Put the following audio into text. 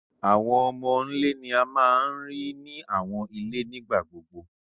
Awọn Ọmọ'ńlè ni à máa ń ríì ní awọn ilẹ̀ nígbàgbogbo